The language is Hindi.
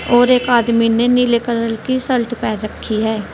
और एक आदमी ने नीले कलर की शर्ट पहन रखी है।